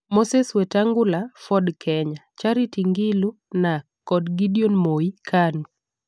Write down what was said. Moses Wetangula (Ford Kenya), Charity Ngilu (Narc) kod Gideon Moi (Kanu).